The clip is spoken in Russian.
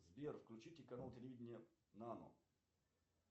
сбер включите канал телевидения нано